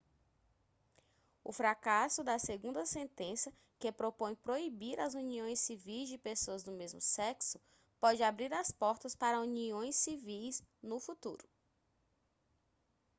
o fracasso da segunda sentença que propõe proibir as uniões civis de pessoas do mesmo sexo pode abrir as portas para uniões civis no futuro